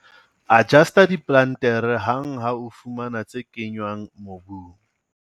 Adjusta diplantere hang ha o fumana tse kenngwang mobung.